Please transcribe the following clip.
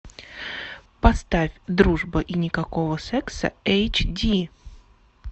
поставь дружба и никакого секса эйч ди